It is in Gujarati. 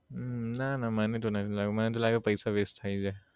ના ના મને તો નથી લાગ્યું મને તો લાગે પૈસા waste થઇ જાય